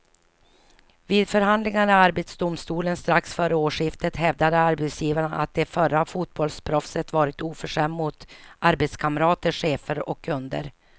Vid förhandlingarna i arbetsdomstolen strax före årsskiftet hävdade arbetsgivaren att det förra fotbollsproffset varit oförskämd mot arbetskamrater, chefer och kunder.